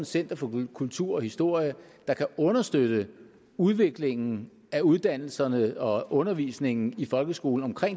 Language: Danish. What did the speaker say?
center for kultur og historie der kan understøtte udviklingen af uddannelserne og undervisningen i folkeskolen